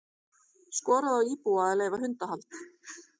Skorað á íbúa að leyfa hundahald